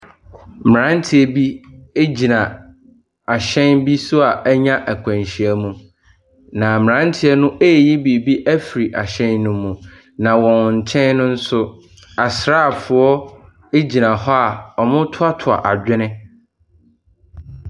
Mmeranteɛ bi gyina ahyɛn bi so a anya akwanhyia mu, na mmeranteɛ no reyi biribi afiri ahyɛn no mu, na wɔn nkyɛn no nso, asraafoɔ gyina hɔ a wɔretoatia adwene.